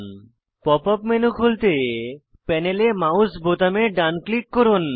pop up menu খুলতে প্যানেলে mouse বোতামে ডান ক্লিক করুন